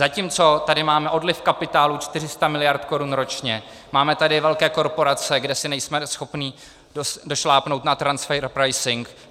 Zatímco tady máme odliv kapitálu 400 mld. korun ročně, máme tady velké korporace, kde si nejsme schopni došlápnout na transfer pricing.